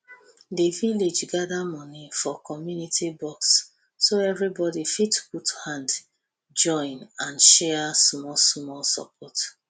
the village gather money for community box so everybody fit put hand join and share smallsmall support